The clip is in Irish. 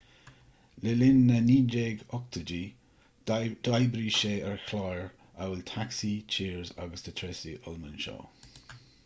le linn na 1980idí d'oibrigh sé ar chláir amhail taxi cheers agus the tracy ullman show